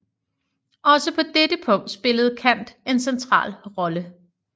Også på dette punkt spillede Kant en central rolle